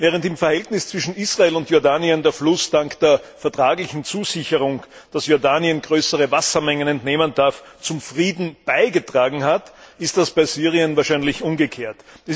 Während im Verhältnis zwischen Israel und Jordanien der Fluss dank der vertraglichen Zusicherung, dass Jordanien größere Wassermengen entnehmen darf, zum Frieden beigetragen hat, ist das bei Syrien wahrscheinlich umgekehrt.